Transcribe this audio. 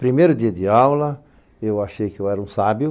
Primeiro dia de aula, eu achei que eu era um sábio.